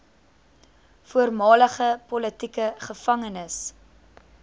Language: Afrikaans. voormalige politieke gevangenes